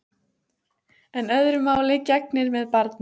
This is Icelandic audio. En öðru máli gegnir með barnið.